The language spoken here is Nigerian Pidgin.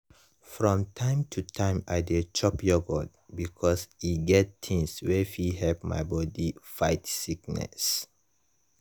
from time to time i dey chop yogurt because e get things wey fit help my body fight sickness